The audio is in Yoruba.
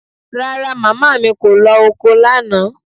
Rara, màmá mi kò lọ oko lánàá